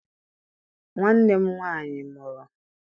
Nwanne m nwaanyị mụrụ.